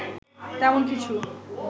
তেমন কিছু